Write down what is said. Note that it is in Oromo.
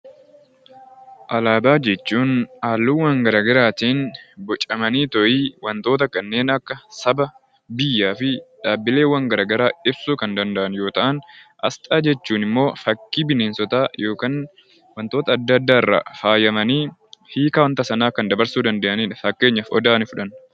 Alaabaa jechuun halluuwwan garaagaraatiin bocamanii wantoota kanneen akka Saba, biyyaa fi dhaabbilee garaagaraa ibsuu kan danda'an yoo ta'u , asxaa jechuun immoo fakkii bineensotaa irraa faayamanii hiika wanta Sanaa kan dabarsuu danda'anidha.